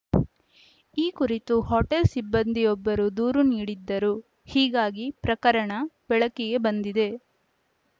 ಈ ಕುರಿತು ಹೋಟೆಲ್‌ ಸಿಬ್ಬಂದಿಯೊಬ್ಬರು ದೂರು ನೀಡಿದ್ದರು ಹೀಗಾಗಿ ಪ್ರಕರಣ ಬೆಳಕಿಗೆ ಬಂದಿದೆ